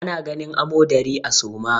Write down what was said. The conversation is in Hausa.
Ana ganin amodari a suma.